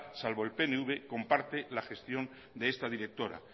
salvo el pnv comparte la gestión de esta directora